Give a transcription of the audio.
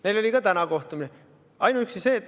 Neil oli ka täna kohtumine.